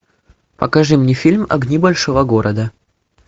покажи мне фильм огни большого города